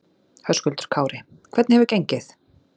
Höskuldur Kári: Hvernig hefur gengið?